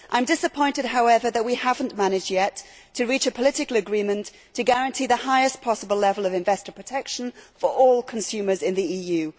I am disappointed, however, that we have not yet managed to reach a political agreement to guarantee the highest possible level of investor protection for all consumers in the EU.